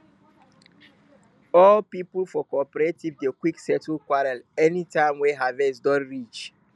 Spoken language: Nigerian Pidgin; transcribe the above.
old people for cooperative dey quick settle quarrel anytime wey harvest don reach